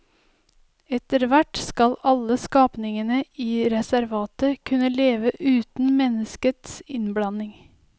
Etterhvert skal alle skapningene i reservatet kunne leve uten menneskets innblanding.